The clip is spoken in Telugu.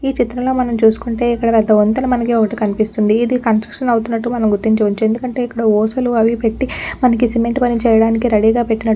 ఈ చిత్రంలో మనం చూసుకుంటే ఇక్కడ పెద్ద వంతెన ఒక్కటి మనకి కనిపిస్తుంది. ఇది కన్స్ట్రక్షన్ అవుతున్నట్టు మనం గుర్తించవచ్చు. ఎందుకంటే ఇక్కడ అవి పెట్టి మనకి సిమెంట్ పని చేయడానికి రెడీ గా పెట్టినట్టు--